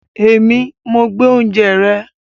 Èmi, mo gbé oúnjẹ rẹ